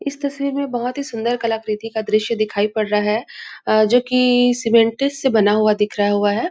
इस तस्वीर में बहुत ही सुन्दर कलाकृति का दृश्य दिखाई पड़ रहा है अ जो की सीमेंट्स से बना हुआ दिख रहा हुआ है।